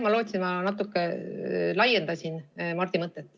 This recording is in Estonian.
Ma loodan, et ma natuke laiendasin Mardi mõtet.